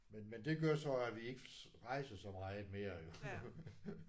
Men men det gør så at vi ikke rejser så meget mere jo